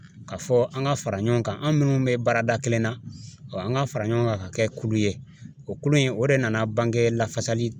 Ka fɔ an ka fara ɲɔgɔn kan an minnu bɛ baarada kelen na an ka fara ɲɔgɔn kan ka kɛ kulu ye o kulu in o de nana bange lafasali